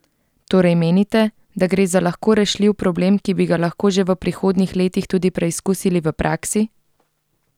Torej menite, da gre za lahko rešljiv problem, ki bi ga lahko že v prihodnjih letih tudi preizkusili v praksi?